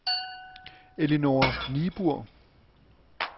Ellinor Niebuhr